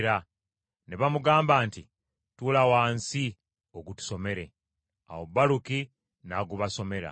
Ne bamugamba nti, “Tuula wansi, ogutusomere.” Awo Baluki n’agubasomera.